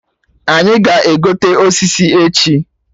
Anyị ga-egote osisi echi